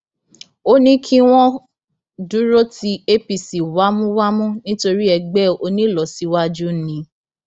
ó ní kí wọn dúró ti apc wámúwámú nítorí ẹgbẹ onílọsíwájú ni